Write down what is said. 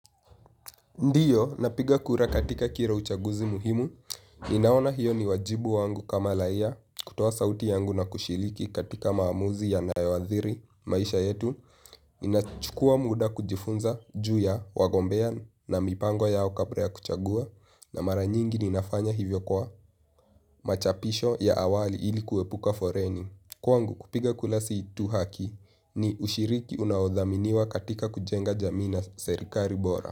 Ndiyo, napiga kura katika kira uchaguzi muhimu. Ninaona hiyo ni wajibu wangu kama lahia kutoa sauti yangu na kushiliki katika maamuzi yanayo adhiri, maisha yetu. Nina chukua muda kujifunza, juu ya, wagombea na mipango yao kapra ya kuchagua. Na mara nyingi ninafanya hivyo kwa machapisho ya awali ilikuepuka foreni. Kwangu kupiga kula si tu haki ni ushiriki unaodhaminiwa katika kujenga jamii na serikari bora.